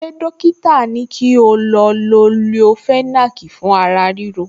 Ṣé dọ́kítà ní kí o lo leofenac fún ara ríro